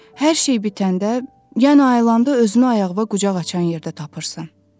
Hər şey bitəndə, yenə ayılanda özünü ayağına qucaq açan yerdə tapırsan.